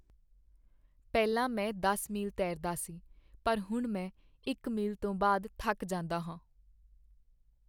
ਪਹਿਲਾਂ ਮੈਂ ਦਸ ਮੀਲ ਤੈਰਦਾ ਸੀ ਪਰ ਹੁਣ ਮੈਂ ਇੱਕ ਮੀਲ ਤੋਂ ਬਾਅਦ ਥੱਕ ਜਾਂਦਾ ਹਾਂ